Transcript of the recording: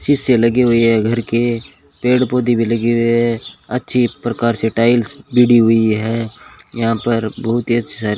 शीशे लगी हुई है घर के पेड़ पौधे भी लगे हुए हैं अच्छी प्रकार से टाइल्स हुई है यहां पर बहुत ही अ --